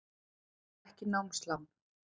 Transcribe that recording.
Skerðir ekki námslán